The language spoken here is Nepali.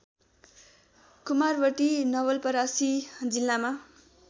कुमारवर्ती नवलपरासी जिल्लामा